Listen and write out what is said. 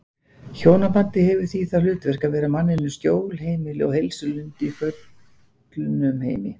Hjónabandið hefur því það hlutverk að vera manninum skjól, heimili og heilsulind í föllnum heimi.